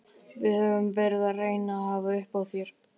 Við höfum verið að reyna að hafa upp á þér.